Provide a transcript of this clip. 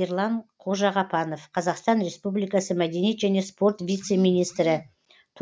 ерлан қожағапанов қазақстан республикасы мәдениет және спорт вице министрі